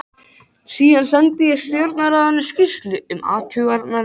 Síðan sendi ég Stjórnarráðinu skýrslu um athuganir mínar.